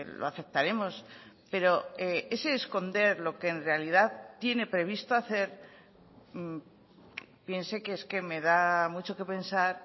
lo aceptaremos pero ese esconder lo que en realidad tiene previsto hacer piense que es que me da mucho que pensar